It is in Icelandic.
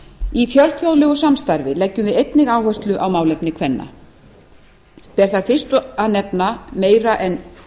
í fjölþjóðlegu samstarfi leggjum við einnig áherslu á málefni kvenna ber þar fyrst að nefna meira en